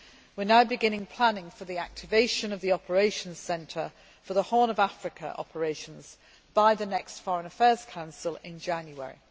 We are now beginning planning for the activation of the operations centre for the Horn of Africa operations by the next Foreign Affairs Council in January.